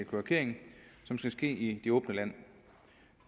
kloakering som skal ske i det åbne land